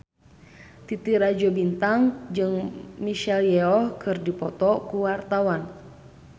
Titi Rajo Bintang jeung Michelle Yeoh keur dipoto ku wartawan